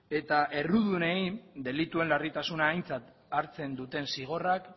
eta errudunei delituaren larritasuna aintzat hartzen duten zigorrak